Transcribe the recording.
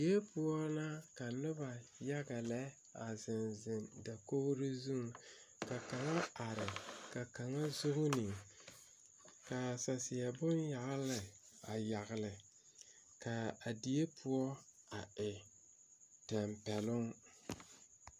Die poɔ na ka nobɔ yaga lɛ a zeŋ zeŋ dakogre zuŋ ka kaŋa are ka kaŋa zuune kaa saseɛ bon yagle a yagle kaa a die poɔ a e tampɛloŋ.